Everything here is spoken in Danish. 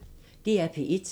DR P1